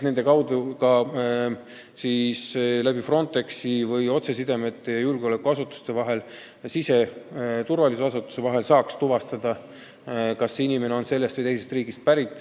Eesmärk on kas Frontexi kaudu või kasutades otsesidemeid julgeolekuasutuste ja siseturvalisuse asutuste vahel tuvastada, kas inimene on pärit ühest või teisest riigist.